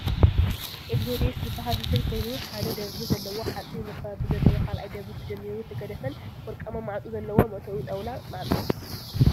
ኤግዞዴስ ዝበሃል ሆቴል ኮይኑ ሓደ ደብሪ ዘለዎ ሓፂን መካበቢ ዘለዎ ካልኣይ ደብሪ ተጀሚሩ ተገዲፈን ወርቃማ ማዕፆ ዘለዎ መእተዊኡ ጣውላ ማዕፆ ።